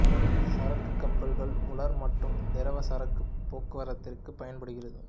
சரக்கு கப்பல்கள் உலர் மற்றும் திரவ சரக்கு போக்குவரத்திற்கு பயன்படுகிறது